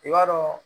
I b'a dɔn